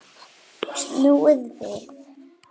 Snúið við!